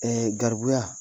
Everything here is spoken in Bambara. Ɛ garibuya